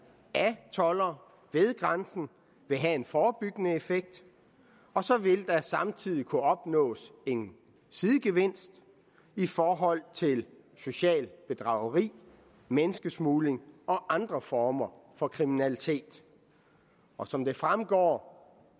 af toldere ved grænsen vil have en forebyggende effekt og så vil der samtidig kunne opnås en sidegevinst i forhold til socialt bedrageri menneskesmugling og andre former for kriminalitet og som det fremgår